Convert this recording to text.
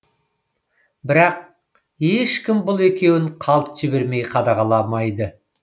бірақ ешкім бұл екеуін қалт жібермей қадағаламайды